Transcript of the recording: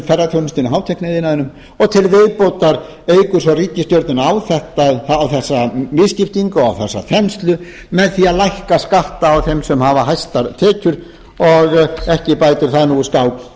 til viðbótar eykur svo ríkisstjórnin á þessa misskiptingu á þessa þenslu með því að lækka skatta á þeim sem hafa hæstar tekjur og ekki bætir það